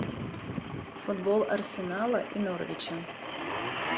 футбол арсенала и норвича